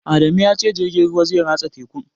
Adamu ya ce jirgin ruwan zai ratsa tekun